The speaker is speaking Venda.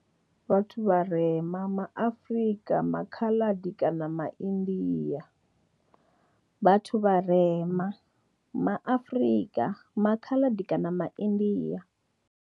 Vhathu vharema ma Afrika, ma Khaladi kana ma India. Vhathu vharema ma Afrika, ma Khaladi kana ma India.